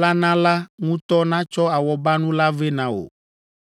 la na la ŋutɔ natsɔ awɔbanu la vɛ na wò.